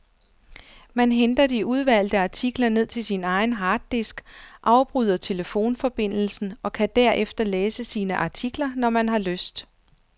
Man henter de udvalgte artikler ned til sin egen harddisk, afbryder telefonforbindelsen og kan derefter læse sine artikler, når man har lyst.